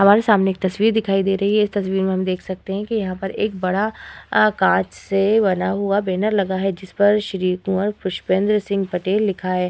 हमारे सामने एक तस्वीर दिखाई दे रही है। इस तस्वीर में हम देख सकते हैं कि यहाँ पर एक बड़ा आ कांच से बना हुआ बैनर लगा है जिस पर श्री कुंवर पुष्पेंद्र सिंह पटेल लिखा है।